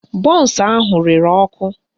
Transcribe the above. Bọnsụ ahụ rere ọkụ